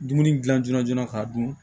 Dumuni gilan joona joona k'a dun